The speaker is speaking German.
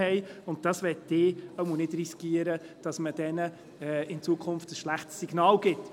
Ich möchte es nicht riskieren, dass man diesen in Zukunft ein schlechtes Signal gibt.